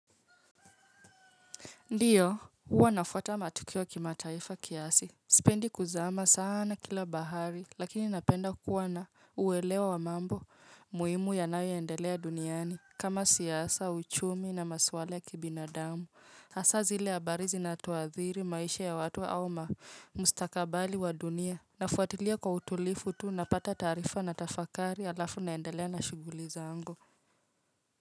Ndiyo, huwa nafuata matukio kimataifa kiasi. Sipendi kuzama sana kila bahari, lakini napenda kuwa na uwelewa wa mambo muhimu yanayoendelea duniani. Kama siasa, uchumi na maswala ya kibinadamu. Hasa zile haabari zinatuadhiri, maisha ya watu au mustakabali wa dunia. Nafuatilia kwa utulifu tuu na pata taarifa na tafakari alafu naendelea na shughuli zangu.